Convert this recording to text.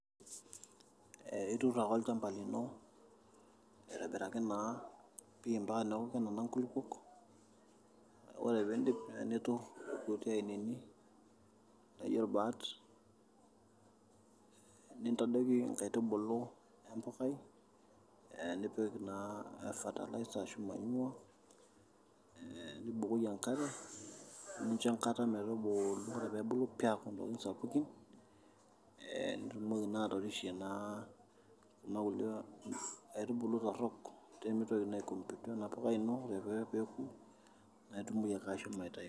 Ee iturr ake olchamba lino aitobiraki naa pii mpaka neoku nena kulukuon, ore pee indip niturr irkuti ainini laa aijo irbaat nintadoiki inkaitubulu empukai ee nipik naa fertiliser ashu manure ee nibukoki enkare nincho enkata metubulu ore pee ebulu pii aaku ntokitin sapukin ee nitumoki naa atorishie naa kuna kulie aitubulu torrok pee mitoki naa aicompete ompukai ino ore pee euko na aitumoki ake ashomo aitayu.